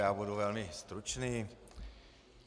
Já budu velmi stručný.